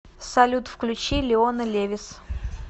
салют включи леона левис